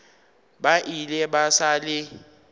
ba ile ba sa le